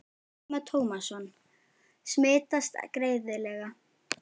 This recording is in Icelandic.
Telma Tómasson: Smitast greiðlega?